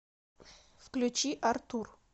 включи артур